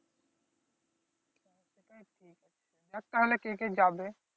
দেখ তাহলে কে কে যাবে